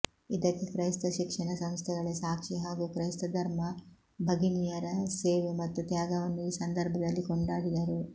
ಇದಕ್ಕೆ ಕ್ರೈಸ್ತ ಶಿಕ್ಷಣ ಸಂಸ್ಥೆಗಳೇ ಸಾಕ್ಷಿ ಹಾಗೂ ಕ್ರೈಸ್ತ ಧರ್ಮ ಭಗಿನಿಯರ ಸೇವೆ ಮತ್ತು ತ್ಯಾಗವನ್ನು ಈ ಸಂದರ್ಭದಲ್ಲಿ ಕೊಂಡಾಡಿದರು